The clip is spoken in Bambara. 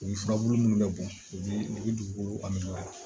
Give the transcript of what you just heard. U bi furabulu munnu bɛ bɔn u bi u bi dugukolo la